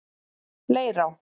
Leirá